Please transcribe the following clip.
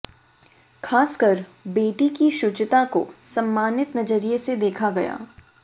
खासकर बेटी की शुचिता को सम्मानित नजरिए से देखा गया